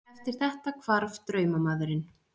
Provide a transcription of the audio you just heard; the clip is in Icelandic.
Eftir þetta hvarf draumamaðurinn.